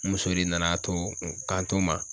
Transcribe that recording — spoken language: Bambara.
N muso de nana to kanto n ma